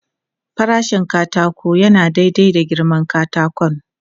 Farashin katako yana daidai da girman katakon.